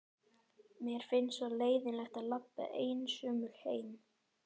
Mér finnst svo leiðinlegt að labba einsömul heim.